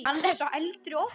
Hann er sá eldri okkar.